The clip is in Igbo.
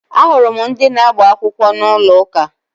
Ahụrụ m ndị na-agba akwụkwọ n'ụlọ ụka